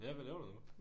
Ja hvad laver du nu